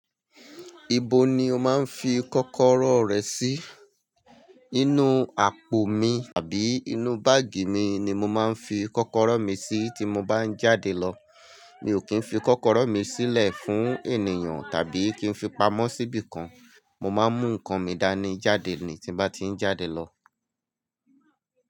Ibo ni o máa ń fi kọ́kọ́rọ́ rẹ sí? Inú àpò mi àbí inú báàgì mi ni mo máa ń fi kọ́kọ́rọ́ mi sí tí mo bá ń jáde lọ. Mi ò kí ń fi kọ́kọ́rọ́ mi sílẹ̀ fún ènìyàn tàbí kí ń fi pamọ́ síbí kan. Mo máa ń mú nǹkan mi dání jáde ni tí n bá ti ń jáde lọ.